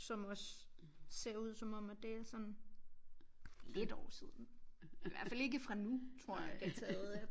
Som også ser ud som om at det er sådan lidt år siden i hvert fald ikke fra nu tror jeg det er taget